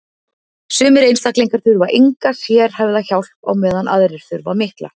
sumir einstaklingar þurfa enga sérhæfða hjálp á meðan aðrir þurfa mikla